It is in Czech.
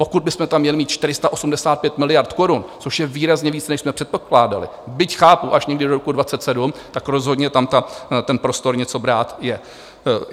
Pokud bychom tam měli mít 485 miliard korun, což je výrazně víc, než jsme předpokládali, byť chápu, až někdy do roku 2027, tak rozhodně tam ten prostor něco brát je.